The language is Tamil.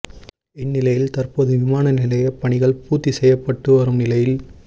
இந்நிலையில் தற்போது விமான நிலையப் பணிகள் பூத்தி செய்யப்பட்டு வரும் நிலையில்